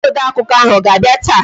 Onye odeakụkọ ahụ ọ ga-abịa taa?